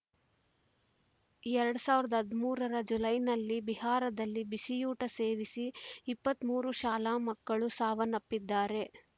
ಎರಡ್ ಸಾವಿರದ ಹದಿಮೂರರ ಜುಲೈನಲ್ಲಿ ಬಿಹಾರದಲ್ಲಿ ಬಿಸಿಯೂಟ ಸೇವಿಸಿದ ಇಪ್ಪತ್ತ್ ಮೂರು ಶಾಲಾ ಮಕ್ಕಳು ಸಾವನ್ನಪ್ಪಿದ್ದರು